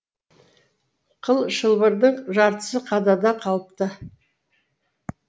қыл шылбырдың жартысы қадада қалыпты